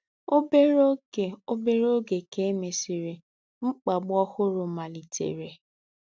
Obere oge Obere oge ka e mesịrị, mkpagbu ọhụrụ malitere.